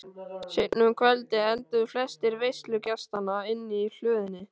Seinna um kvöldið enduðu flestir veislugestanna inni í hlöðunni.